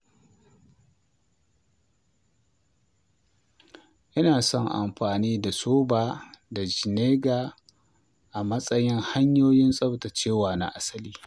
Ina son amfani da soda da vinegar a matsayin hanyoyin tsaftacewa na asali.